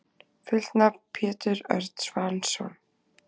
Fullt nafn: Pétur Örn Svansson.